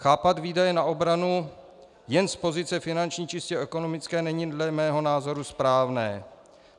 Chápat výdaje na obranu jen z pozice finanční, čistě ekonomické, není dle mého názoru správné.